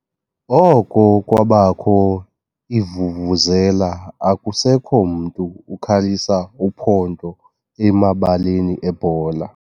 Oko kwabakho iivuvuzela akusekho mntu ukhalisa uphondo emabaleni ebhola.